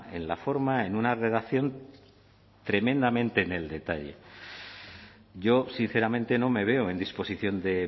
en la forma en una redacción tremendamente en el detalle yo sinceramente no me veo en disposición de